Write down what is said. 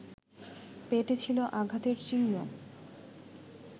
পেটে ছিল আঘাতের চিহ্ন